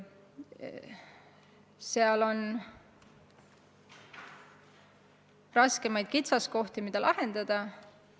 Seal on kitsaskohti, mida on keeruline lahendada.